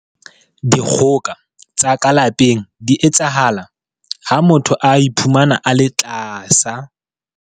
Dikgoka tsa ka lapeng di etsahala ha motho a iphumana a le tlasa.